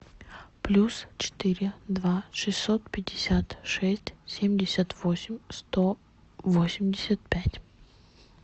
плюс четыре два шестьсот пятьдесят шесть семьдесят восемь сто восемьдесят пять